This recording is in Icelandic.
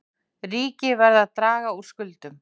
Ríki verða að draga úr skuldum